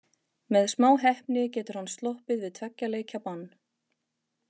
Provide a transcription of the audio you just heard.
Með smá heppni getur hann sloppið við tveggja leikja bann.